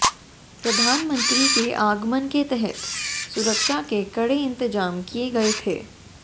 प्रधानमंत्री के आगमन के तहत सुरक्षा के कड़े इंतजाम किए गए थे